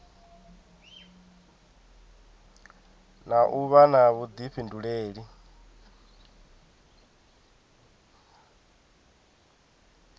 na u vha na vhuḓifhinduleli